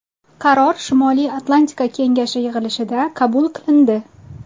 Qaror Shimoliy Atlantika kengashi yig‘ilishida qabul qilindi.